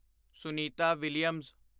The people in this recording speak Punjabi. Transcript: ਸੁਨੀਤਾ ਵਿਲੀਅਮਜ਼